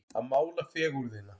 Að mála fegurðina